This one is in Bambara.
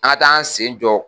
An ka t'an sen jɔ